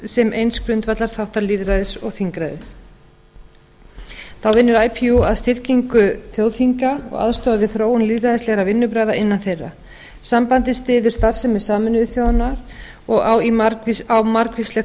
sem eins grundvallarþáttar lýðræðis og þingræðis þá vinnur ipu að styrkingu þjóðþinga og aðstoða við þróun lýðræðislegra vinnubragða innan þeirra sambandið styður starfsemi sameinuðu þjóðanna og á margvíslegt samstarf